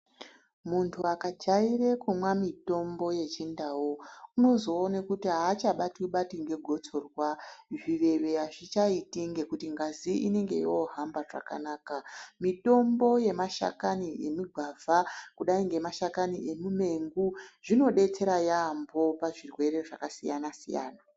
Munthu akajaire kumwa mitombo yechindau, unozoone kuti aachabatwi-batwi ngegotsorwa, zviveve azvichaiti ngekuti ngazi inenge yoohamba zvakanaka. Mitombo yemashakani emigwavha, kudai ngemashakani emimengu, zvinodetsera yaampho, pazvirwere zvakasiyana-siyana.